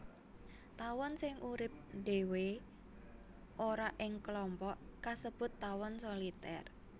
Tawon sing urip ndhéwé ora ing klompok kasebut tawon solitèr